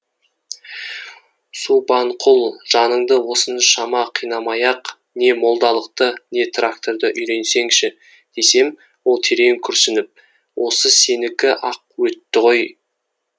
субанқұл жаныңды осыншама қинамай ақ не молдалықты не тракторды үйренсеңші десем ол терең күрсініп осы сенікі ақ өтті ғой